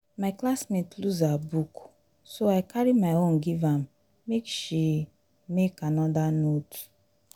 my classmate lose her book so i carry my own give am make she make another note